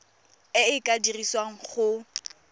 e e ka dirisiwang go